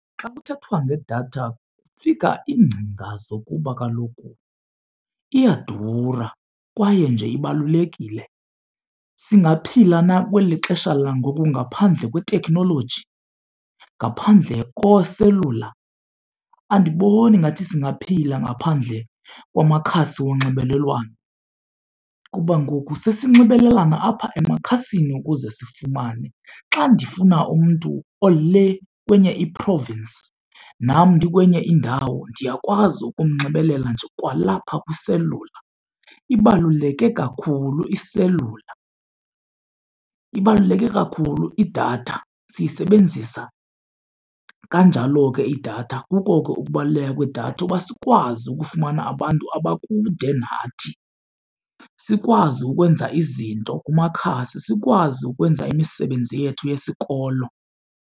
Xa kuthethwa ngedatha kufika iingcinga zokuba kaloku iyadura kwaye nje ibalulekile. Singaphila na kweli xesha langoku ngaphandle kweteknoloji ngaphandle kooselula? Andiboni ngathi singaphila ngaphandle kwamakhasi onxibelelwano kuba ngoku sesinxibelelana apha emakhasini ukuze sifumane. Xa ndifuna umntu olee kwenye i-province nam ndikwenye indawo, ndiyakwazi ukunxibelelana nje kwalapha kwiselula. Ibaluleke kakhulu iselula, ibaluleke kakhulu idatha. Siyisebenzisa kanjalo ke idatha, kuko ke ukubaluleka kwedatha uba sikwazi ukufumana abantu abakude nathi. Sikwazi ukwenza izinto kumakhasi sikwazi ukwenza imisebenzi yethu yesikolo.